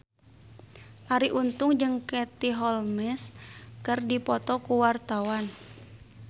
Arie Untung jeung Katie Holmes keur dipoto ku wartawan